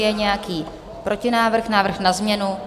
Je nějaký protinávrh, návrh na změnu?